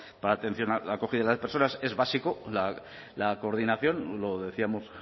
para atención a la acogida a las personas es básico la coordinación lo decíamos